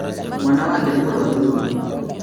Mwana wake nĩ mũrwaru mũno